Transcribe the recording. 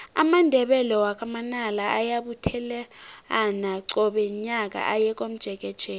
amandebele wakwa manala ayabuthelana qobe nyaka aye komjekejeke